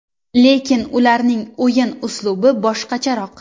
Lekin ularning o‘yin uslubi boshqacharoq.